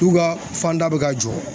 N'u ka fanda be ka jɔ